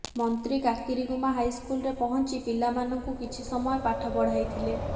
ମନ୍ତ୍ରୀ କାକିରିଗୁମା ହାଇସ୍କୁଲରେ ପଞ୍ଚି ପିଲାମାନଙ୍କୁ କିଛି ସମୟ ପାଠ ପଢ଼ାଇଥିଲେ